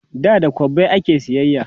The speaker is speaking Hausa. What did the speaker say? da da kwabbai ake sayayya